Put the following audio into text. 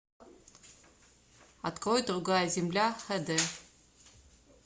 открой другая земля х д